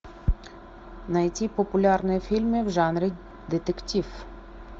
найти популярные фильмы в жанре детектив